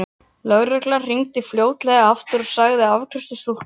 Lögreglan hringdi fljótlega aftur og sagði að afgreiðslustúlka á